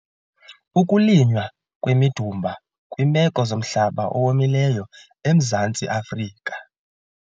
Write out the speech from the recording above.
Ukulinywa kwemidumba kwiimeko zomhlaba owomileyo eMzantsi Afrika